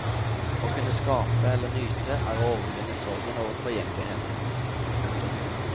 Å kunne skape eller nyte er å overvinne sorgen over forgjengeligheten. punktum